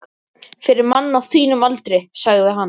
Fyrir mann á þínum aldri, sagði hann.